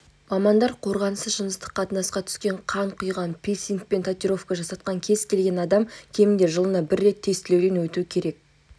мамандар қорғансыз жыныстық қатынасқа түскен қан құйған пирсинг бен татуировка жасатқан кез келген адам кемінде жылына бір рет тестілеуден өту керек